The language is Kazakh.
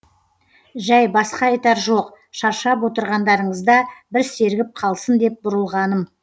жәй басқа айтар жоқ шаршап отырғандарыңызда бір сергіп қалсын деп бұрылғаным